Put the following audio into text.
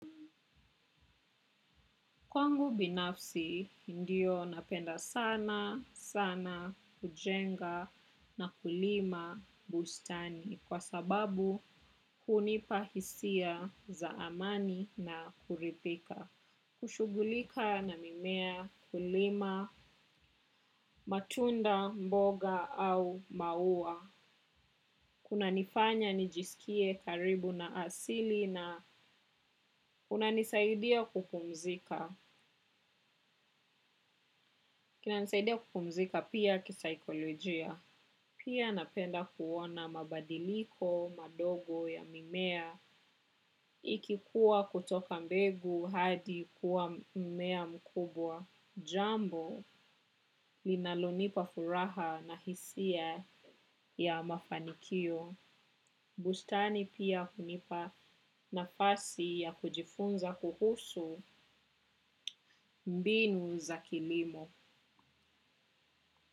Kwangu binafsi, ndio, napenda sana sana kujenga na kulima bustani kwa sababu hunipa hisia za amani na kuridhika. Kushughulika na mimea, kulima matunda mboga au maua. Kunanifanya nijisikie karibu na asili na kunanisaidia kupumzika. Kunanisaidia kupumzika pia kisaikolojia. Pia napenda kuona mabadiliko madogo ya mimea ikikua kutoka mbegu hadi kuwa mmea mkubwa. Jambo linalonipa furaha na hisia ya mafanikio. Bustani pia hunipa nafasi ya kujifunza kuhusu mbinu za kilimo.